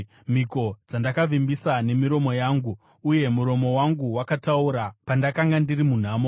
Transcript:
mhiko dzandakavimbisa nemiromo yangu, uye muromo wangu wakataura pandakanga ndiri munhamo.